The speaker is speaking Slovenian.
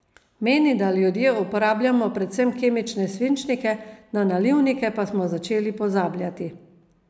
Meni, da ljudje uporabljamo predvsem kemične svinčnike, na nalivnike pa smo začeli pozabljati.